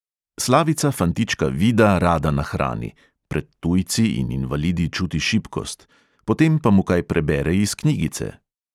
Slavica fantička vida rada nahrani (pred tujci in invalidi čuti šibkost), potem pa mu kaj prebere iz knjigice.